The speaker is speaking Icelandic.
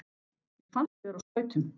Mér fannst ég vera á skautum.